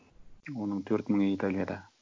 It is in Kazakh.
оның төрт мыңы италияда